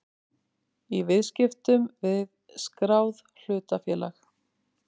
í viðskiptum við skráð hlutafélag.